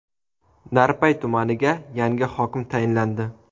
Narpay tumaniga yangi hokim tayinlandi.